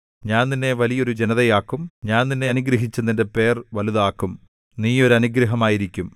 ഞാൻ നിന്നെ വലിയ ഒരു ജനതയാക്കും ഞാൻ നിന്നെ അനുഗ്രഹിച്ചു നിന്റെ പേർ വലുതാക്കും നീ ഒരു അനുഗ്രഹമായിരിക്കും